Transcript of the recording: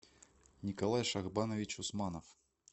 николай шахбанович усманов